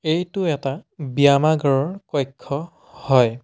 এইটো এটা ব্যায়ামাগাৰৰ কক্ষ্য হয়।